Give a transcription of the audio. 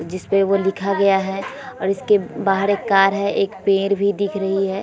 जिसपे वो लिखा गया है। और इसके बाहर एक कार है। एक पेड़ भी दिख रही है।